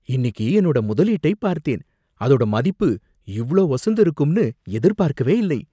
இன்னிக்கு என்னோட முதலீட்டைப் பார்த்தேன், அதோட மதிப்பு இவ்ளோ உசந்து இருக்கும்னு எதிர்பார்க்கவே இல்லை.